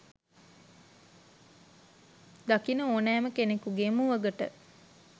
දකින ඕනෑම කෙනෙකුගේ මුවගට